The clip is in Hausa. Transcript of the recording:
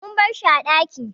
Mun barshi a ɗaki